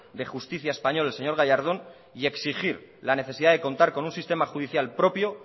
de justicia español el señor gallardón y exigir la necesidad de contar con un sistema judicial propio